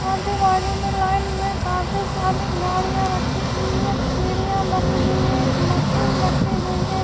اجو باجو لائن میں کافی ساری گاڑیاں رکھی ہوئی ہیں سیڑیاں بنی ہوئی ہے ایک مشین رکھی ہوئی ہے-